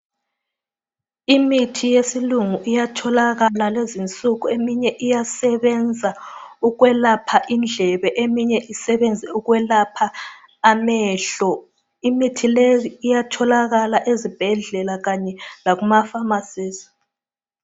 Imithi yesilungu iyatholakala lezinsuku eminye iyasebenza ukwelapha indlebe eminye isebenze ukwelapha amehlo imithi leyi iyatholakala ezibhedlela Kanye lakuma famasizi